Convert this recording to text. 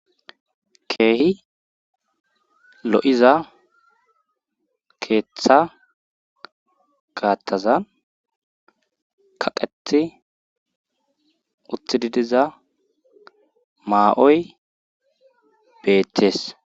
keehi lo:iza keeththa gaattazan kaqeti utididiza maa'oy beettees